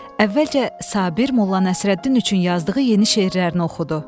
Əvvəlcə Sabir Molla Nəsrəddin üçün yazdığı yeni şeirlərini oxudu.